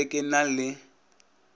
ke be ke na le